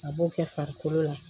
A b'o kɛ farikolo la